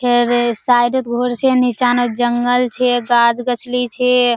फेर साइड हेत घर छै नीचा ने जंगल छै गाछ गछ्ली छै।